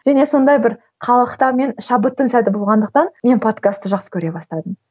және сондай бір қалықтау мен шабыттың сәті болғандықтан мен подкасты жақсы көре бастадым